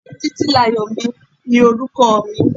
Títílayọ̀mi ni orúkọ mi.